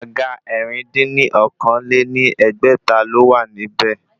Àga ẹ̀rin dín ní okòó-lé-ní-ẹgbẹ́ta ló wà ní ibẹ̀